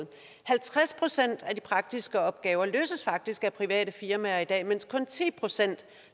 halvtreds procent af de praktiske opgaver løses faktisk af private firmaer i dag mens kun ti procent